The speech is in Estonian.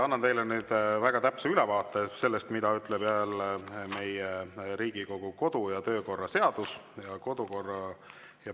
Annan teile nüüd väga täpse ülevaate sellest, mida ütleb Riigikogu kodu‑ ja töökorra seadus.